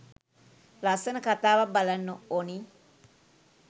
ලස්සන කතාවක් බලන්න ඔනි